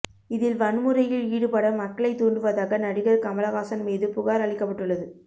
இதில் வன்முறையில் ஈடுபட மக்களை தூண்டுவதாக நடிகர் கமலஹாசன் மீது புகார் அளிக்கப்பட்டுள்ளது